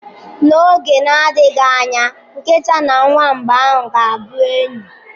N'oge na-adịghị anya, nkịta na nwamba ga-abụ enyi.